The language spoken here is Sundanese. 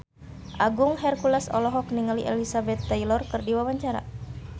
Agung Hercules olohok ningali Elizabeth Taylor keur diwawancara